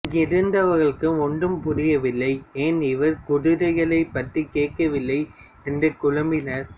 அங்கிருந்தவர்களுக்கு ஒன்றும் புரியவில்லை ஏன் இவர் குதிரைகளைப் பற்றி கேட்கவில்லை என்று குழம்பினர்